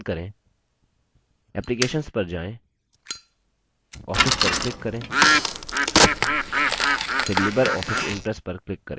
applications पर जाएँ office पर click करें फिर libreoffice impress पर click करें